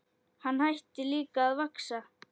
Hann hætti líka að vaxa.